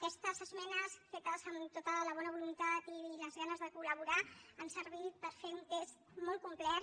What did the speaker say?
aquestes esmenes fetes amb tota la bona voluntat i les ganes de col·laborar han servit per fer un text molt complet